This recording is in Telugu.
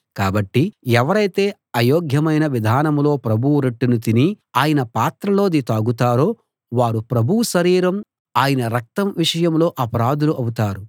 కాబట్టి ఎవరైతే అయోగ్యమైన విధానంలో ప్రభువు రొట్టెను తిని ఆయన పాత్రలోది తాగుతారో వారు ప్రభువు శరీరం ఆయన రక్తం విషయంలో అపరాధులు అవుతారు